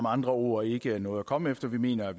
andre ord ikke noget at komme efter vi mener at